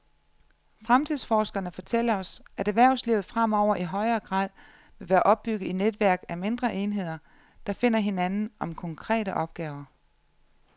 Fremtidsforskerne fortæller os, at erhvervslivet fremover i højere grad vil være opbygget i netværk af mindre enheder, der finder hinanden om konkrete opgaver.